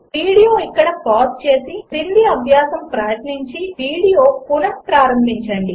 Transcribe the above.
video ఇక్కడ pause చేసి క్రింది అభ్యాసం ప్రయత్నించి వీడియో పునఃప్రారంభించండి